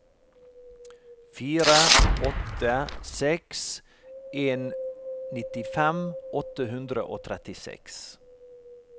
fire åtte seks en nittifem åtte hundre og trettiseks